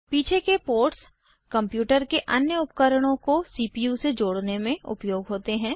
पीछे के ports computer के अन्य उपकरणों को सीपीयू से जोड़ने में उपयोग होते हैं